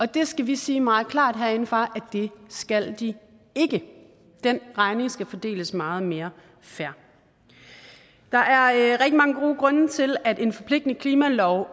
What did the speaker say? det skal vi sige meget klart herindefra at det skal de ikke den regning skal fordeles meget mere fair der er rigtig mange gode grunde til at en forpligtende klimalov